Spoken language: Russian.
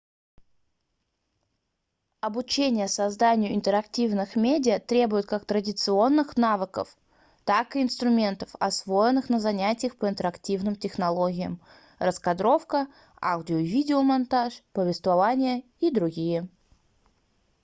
обучение созданию интерактивных медиа требует как традиционных навыков так и инструментов освоенных на занятиях по интерактивным технологиям раскадровка аудио- и видеомонтаж повествование и др.